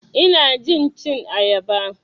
Ina jin cin ayaba.